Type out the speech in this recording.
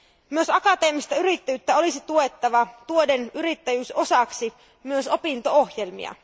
Myös akateemista yrittäjyyttä olisi tuettava tuoden yrittäjyys osaksi myös opinto ohjelmia.